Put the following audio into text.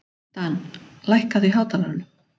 Dan, lækkaðu í hátalaranum.